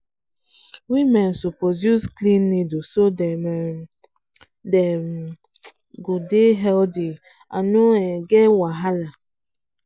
women suppose use clean needle use clean needle to dey healthy and no get wahala.